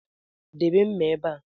Debe mma ebe a